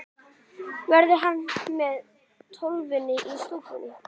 Verður hann með Tólfunni í stúkunni?